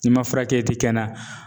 N'i ma furakɛ i ti kɛ na.